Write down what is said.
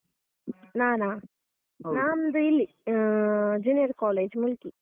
ನಾನಾ? ನಂದು ಇಲ್ಲಿ ಆ Junior college ಮುಲ್ಕಿ.